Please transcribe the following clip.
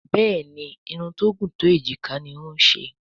Béèni Irun tó gún tó ejika ní o ń ṣe.